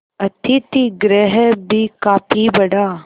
अतिथिगृह भी काफी बड़ा